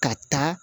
Ka taa